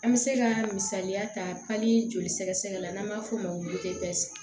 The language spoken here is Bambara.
An bɛ se ka misaliya ta joli sɛgɛsɛgɛ la n'an b'a f'o ma ko